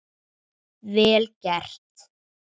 Vel gert.